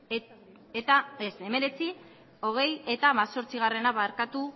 eta hemezortzi